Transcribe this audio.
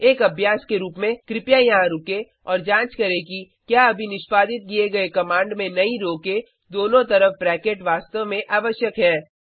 एक अभ्यास के रूप में कृपया यहाँ रुकें और जाँच करें कि क्या अभी निष्पादित किए गए कमांड में नई रो के दोनों तरफ ब्रैकेट वास्तव में आवश्यक है